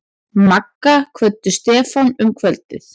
Magga kvöddu Stefán um kvöldið.